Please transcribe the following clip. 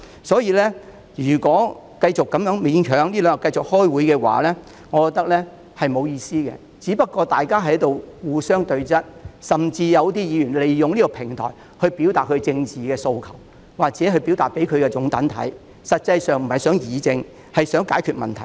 因此，我認為繼續勉強開會是沒有意思的，大家只是在互相對質，甚至有些議員會利用這個平台表達政治訴求，讓支持者看到，但他們實際上並不想議政和解決問題。